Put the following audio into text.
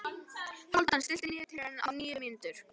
Hálfdan, stilltu niðurteljara á níu mínútur.